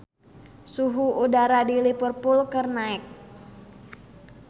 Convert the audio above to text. Suhu udara di Liverpool keur naek